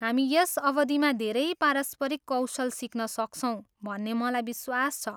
हामी यस अवधिमा धेरै पारस्परिक कौशल सिक्न सक्छौँ भन्ने मलाई विश्वास छ।